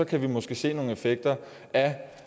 kan vi måske se nogle effekter af